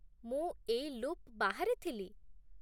ମୁଁ ଏଇ ଲୁପ୍ ବାହାରେ ଥିଲି।